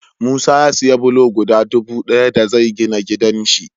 Musa ya siya bulo guda dubu daya da zai gina gidan shi